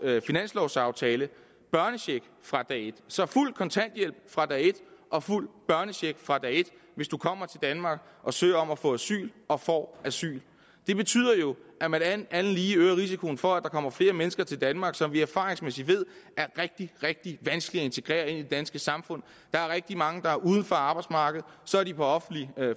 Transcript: finanslovaftale børnecheck fra dag et så fuld kontanthjælp fra dag et og fuld børnecheck fra dag et hvis man kommer til danmark og søger om at få asyl og får asyl det betyder jo at man alt andet lige øger risikoen for at der kommer flere mennesker til danmark som vi erfaringsmæssigt ved er rigtig rigtig vanskelige at integrere i det danske samfund der er rigtig mange der er uden for arbejdsmarkedet og så er de på offentlig